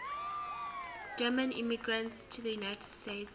german immigrants to the united states